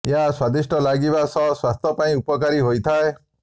ଏହା ସ୍ୱାଦିଷ୍ଟ ଲାଗିବା ସହ ସ୍ୱାସ୍ଥ୍ୟ ପାଇଁ ଉପକାରୀ ହୋଇଥାଏ